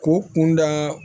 K'o kunda